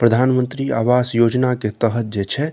प्रधान मंत्री आवास योजना के तहत जे छै --